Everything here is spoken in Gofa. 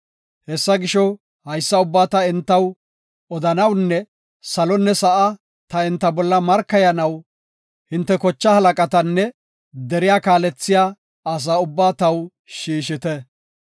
Hessa gisho, haysa ubbaa ta entaw odanawunne salonne sa7a ta enta bolla markayanaw hinte kochaa halaqatanne deriya kaalethiya asaa ubbaa taw shiishite.